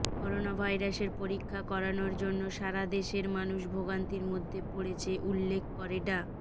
করোনাভাইরাসের পরীক্ষা করানোর জন্য সারাদেশে মানুষ ভোগান্তির মধ্যে পড়ছে উল্লেখ করে ডা